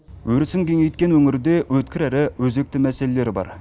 өрісін кеңейткен өңірде өткір әрі өзекті мәселелер бар